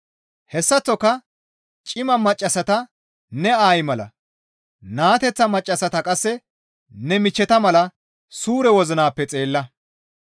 Hessaththoka cima maccassata ne aayi mala, naateththa maccassata qasse ne michcheta mala suure wozinappe xeella.